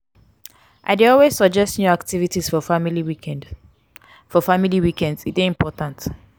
i dey always suggest new activities for family weekends; for family weekends; e dey important.